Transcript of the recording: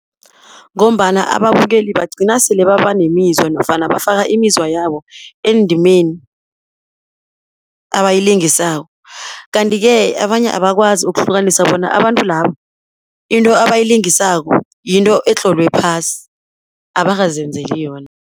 Ngombana ababukeli bagcina sele babanemizwa nofana bafaka imizwa yabo endimeni abayilingisako. Kanti-ke abanye abakwazi ukuhlukanisa bona abantu laba into abayilingisako yinto etlolwe phasi abakazenzeli yona.